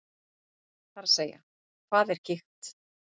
Það er að segja, hvað er gigt?